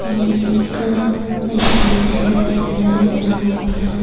یہ ایک جہاں پر-